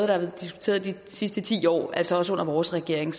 været diskuteret de sidste ti år altså også under vores regering